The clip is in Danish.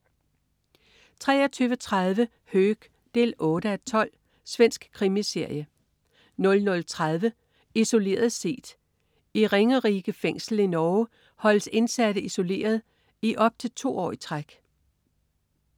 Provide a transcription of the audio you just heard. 23.30 Höök 8:12. Svensk krimiserie 00.30 Isoleret set. I Ringerike Fængsel i Norge holdes indsatte isoleret i op til to år i træk